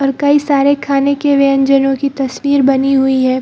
और कई सारे खाने के व्यंजनों की तस्वीर बनी हुई है।